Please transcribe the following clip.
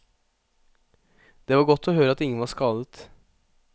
Det var godt å høre at ingen var skadet.